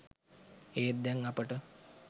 ඒත් දැන් අපට